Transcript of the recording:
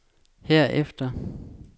herefter